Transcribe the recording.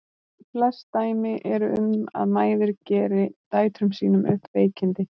Flest dæmi eru um að mæður geri dætrum sínum upp veikindi.